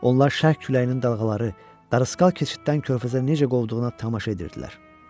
Onlar şərq küləyinin dalğaları darısqal keçiddən körfəzə necə qovduğunu tamaşa edirdilər.